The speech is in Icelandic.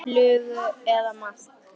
Flugu eða maðk.